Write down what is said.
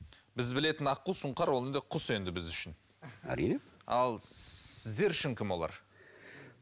біз білетін аққу сұңқар ол енді құс енді біз үшін әрине ал сіздер үшін кім олар